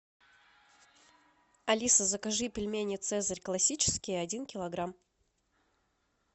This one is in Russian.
алиса закажи пельмени цезарь классические один килограмм